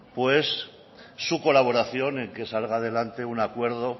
pues su colaboración en que salga adelante un acuerdo